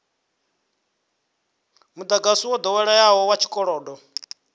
mudagasi wo doweleaho wa tshikolodo